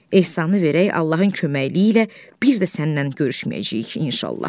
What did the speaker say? Ehsanı verək, Allahın köməkliyi ilə bir də sənlə görüşməyəcəyik, inşallah.